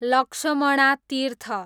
Lakshmana Tirtha